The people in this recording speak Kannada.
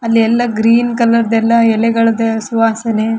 ಅಲ್ಲಿ ಎಲ್ಲ ಗ್ರೀನ್ ಕಲರ್ ದ್ದೆಲ್ಲ ಎಲೆಗಳದ್ದೇ ಸುವಾಸನೆ.